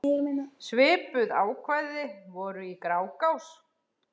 Svipuð ákvæði voru í Grágás.